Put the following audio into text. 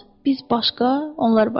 Biz başqa, onlar başqa.